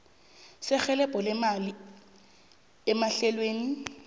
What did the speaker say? serhelebho lemali emahlelweni